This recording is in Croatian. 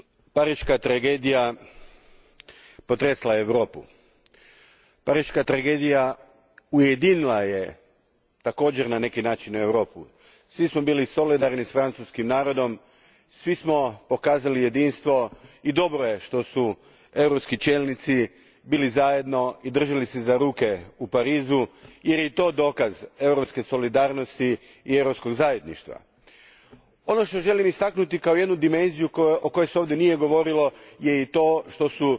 Gospodine predsjedniče, pariška tragedija potresla je Europu. Pariška tragedija također je na neki način ujedinila Europu. Svi smo bili solidarni s francuskim narodom, svi smo pokazali jedinstvo i dobro je što su europski čelnici bili zajedno i držali se za ruke u Parizu jer je i to dokaz europske solidarnosti i europskog zajedništva. Ono što želim istaknuti kao jednu dimenziju o kojoj se ovdje nije govorilo, je i to što